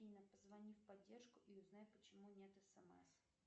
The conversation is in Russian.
афина позвони в поддержку и узнай почему нет смс